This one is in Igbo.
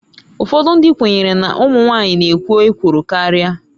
Ụfọdụ ndị kwenyere na ụmụ nwanyị na-ekwo ekworo karịa.